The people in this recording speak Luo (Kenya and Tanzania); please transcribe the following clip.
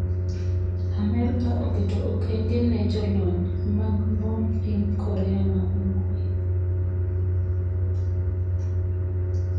Amerka oketo okenge ne jolony mag mbom piny Korea ma Ugwe